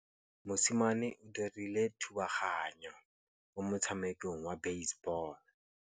Mosimane o dirile thubaganyô mo motshamekong wa basebôlô.